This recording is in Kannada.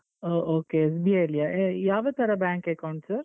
ಓ okay SBI ಯಲ್ಲಿಯಾ ಯಾವ ತರ bank account sir .